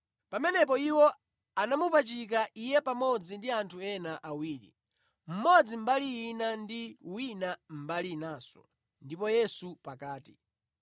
Pamenepo iwo anamupachika Iye pamodzi ndi anthu ena awiri, mmodzi mbali ina ndi wina mbali inanso ndipo Yesu pakati.